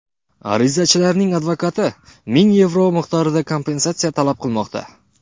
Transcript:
Arizachilarning advokati ming yevro miqdorida kompensatsiya talab qilmoqda.